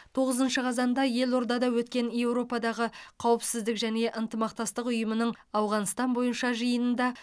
тоғызыншы қазанда елордада өткен еуропадағы қауіпсіздік және ынтымақтастық ұйымының ауғанстан бойынша жиынында